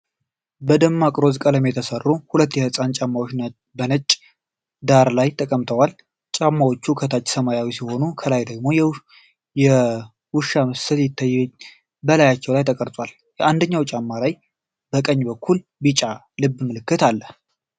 በደማቅ ሮዝ ቀለም የተሰሩ ሁለት የህፃናት ጫማዎች በነጭ ዳራ ላይ ተቀምጠዋል። ጫማዎቹ ከታች ሰማያዊ ሲሆኑ፣ ከላይ ደግሞ የውሻ ምስል በላያቸው ላይ ተቀርጿል። በአንደኛው ጫማ ላይ በቀኝ በኩል ቢጫ ልብ በምልክት አለ።